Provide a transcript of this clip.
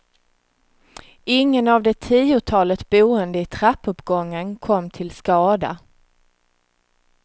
Ingen av det tiotalet boende i trappuppgången kom till skada.